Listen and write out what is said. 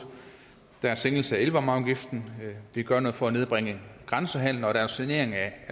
der er en sænkelse af elvarmeafgiften vi gør noget for at nedbringe grænsehandelen og der er en sanering af